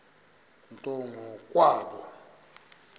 nto ngo kwabo